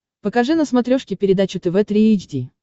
покажи на смотрешке передачу тв три эйч ди